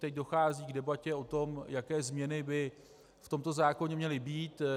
Teď dochází k debatě o tom, jaké změny by v tomto zákoně měly být.